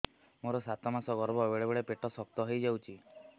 ମୋର ସାତ ମାସ ଗର୍ଭ ବେଳେ ବେଳେ ପେଟ ଶକ୍ତ ହେଇଯାଉଛି